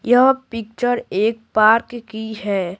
यह पिक्चर एक पार्क की है।